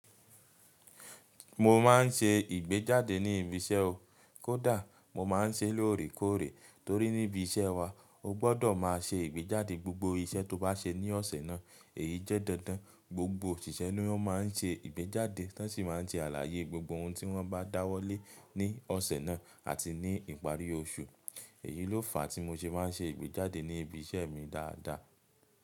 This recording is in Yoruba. Mo ma n ṣe ìgbéjáde ní ibi iṣẹ́ o. Kódà mo máa n ṣe lóòrèkóòrè torí níbi iṣẹ́ wa o gbọdọ̀ máa ṣe ìgbéjáde gbogbo iṣẹ́ to bá ṣe ní ọ̀sẹ̀ náà èyí jẹ́ dandan. Gbogbo òṣìṣẹ́ ni wọ́n máa n ṣe ìgbéjáde wọn sì máa n tí àlàyé gbogbo ohun tí wọ́n bá dáwọ́lé ní ọ̀sẹ̀ náà àti ní ìparí oṣù. Èyí ló fa tí mo ṣe máa n ṣe ìgbéjáde ní ibi iṣẹ́ mi dáadáa.